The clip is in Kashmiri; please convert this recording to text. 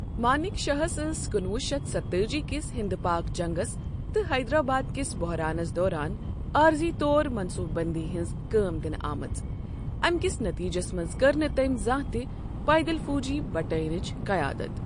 مانِک شاہس ٲس کُنہٕ وُہ شتھ ستتٲجی کس ہِنٛدپاک جنٛگس تہٕ حیدرٛآباد کِس بۄحرانس دوران عٲرضی طور منٛصوبہٕ بنٛدی ہنز كٲم دِنہٕ آمٕژ ، اَمہِ کِس نٔتیٖجس منٛز کٔر نہٕ تٔمۍ زانٛہہ تہِ پیدَل فوجی بٹالِینٕچ قیادت۔